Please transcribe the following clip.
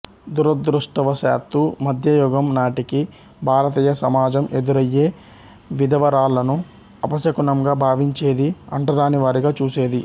దురదృష్టవ శాత్తు మధ్యయుగం నాటికి భారతీయ సమాజం ఎదురయ్యే విధవరాళ్ళను అపశకునంగా భావించేది అంటరానివారిగా చూసేది